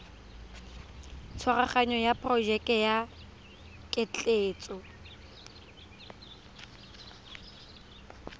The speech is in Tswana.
tshwaraganyo ya porojeke ya ketleetso